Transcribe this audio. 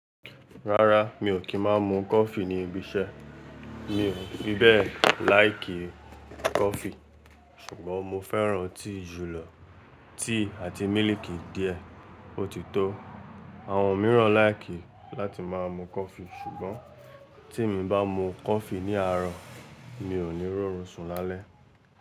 Rárá mi ò kí ń má mu coffee níbi iṣẹ́. Mi ò fi bẹ́ẹ̀ like kí coffee ṣùgbọ́n mo fẹ́ràn tea julọ, te àti mílìkì díẹ̀ ó ti tó. Àwọn mìíràn láìkí láti máa mu coffee ṣùgbọ́n tí emi bá mu coffee ní àárọ̀ mi ò ní rọrùn sùn lálẹ́